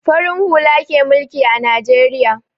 Farin hula ke mulki a Najeriya.